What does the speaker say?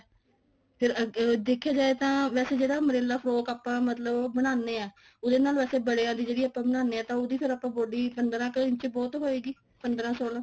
ਅਹ ਅਹ ਦੇਖਿਆ ਜਾਏ ਤਾਂ ਵੈਸੇ ਜਿਹੜਾ umbrella frock ਆਪਾਂ ਮਤਲਬ ਬਣਾਨੇ ਆ ਉਹਦੇ ਨਾਲ ਵੈਸੇ ਬੜਿਆ ਦੀ ਜਿਹੜੀ ਆਪਾਂ ਬਨਾਨੇ ਆ ਤਾਂ ਉਹਦੀ ਫੇਰ ਆਪਾਂ body ਪੰਦਰਾਂ ਕ ਇੰਚ ਬਹੁਤ ਹੋਏਗੀ ਪੰਦਰਾਂ ਸੋਲਾਂ